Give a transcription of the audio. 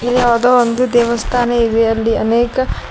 ಯಾವ್ದೋ ಒಂದು ದೇವಸ್ಥಾನ ಇವೆ ಅಲ್ಲಿ ಅನೇಕ--